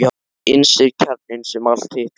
Innst er kjarninn sem allt hitt veltur á.